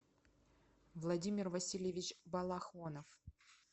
владимир васильевич балахонов